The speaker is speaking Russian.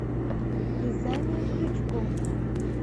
вязание крючком